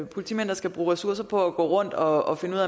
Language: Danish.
politimænd der skal bruge ressourcer på at gå rundt og finde ud